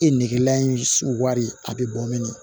E negelan in wari a bɛ bɔn